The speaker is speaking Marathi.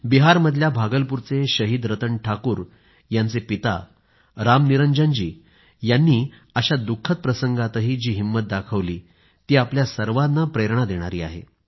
बिहारमधल्या भागलपूरचे शहीद रतन ठाकूर यांचे पिता रामनिरंजनजी यांनी अशा दुःखद प्रसंगातही जी हिंमत दाखवली ती आपल्या सर्वांना प्रेरणा देणारी आहे